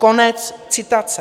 Konec citace.